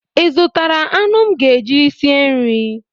Ị zụtara anụ m ga-eji sie nri?